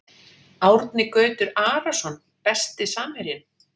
Árni Gautur Arason Besti samherjinn?